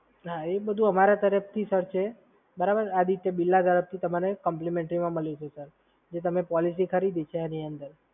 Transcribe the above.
એ બધુ અમારા તરફથી છે બરાબર? આદિત્ય બિરલા તરફથી તમને કૅમ્પલિમેન્ટરીમાં મલી જશે સર, જે તમે પોલિસી ખરીદી છે એની અંદર.